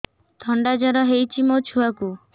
ଥଣ୍ଡା ଜର ହେଇଚି ମୋ ଛୁଆକୁ